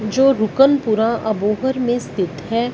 जो रूकन पूरा अबोहर में स्थित है।